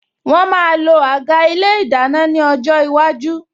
Wọn máa lo àga ilé ìdáná ní ọjọ́ iwájú